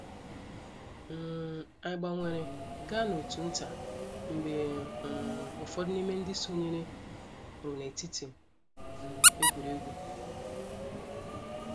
um Anyị gbanwere gaa n’òtù nta mgbe um ụfọdụ n’ime ndị sonyere pụrụ n’etiti um egwuregwu.